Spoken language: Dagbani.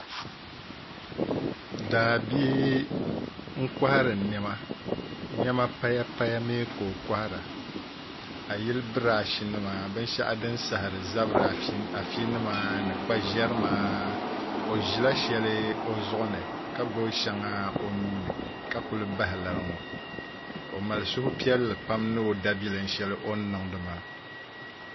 Daabia n kohari niɛma niɛma paya paya mii ka o kohara a yili birash nima binshaɣu din saɣari zabiri afi nima ni kpa ʒɛrima o ʒila shɛli o zuɣu ni ka gbubi shɛŋa o nuuni ka ku bahi lari ŋo o mali suhupiɛlli pam ni o daabilim shɛli o ni niŋdi maa